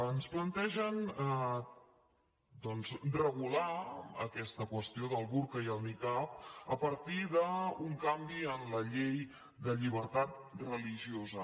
ens plantegen doncs regular aquesta qüestió del burca i el nicab a partir d’un canvi en la llei de llibertat religiosa